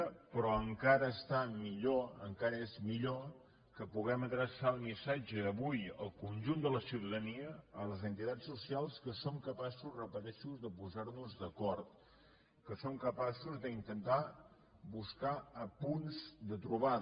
però encara està millor encara és millor que puguem adreçar el missatge avui al con junt de la ciutadania a les entitats socials que som ca pa ços ho repeteixo de posar nos d’acord que som capaços d’intentar buscar punts de trobada